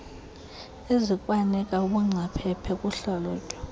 ezikwanika ubungcaphephe kuhlalutyo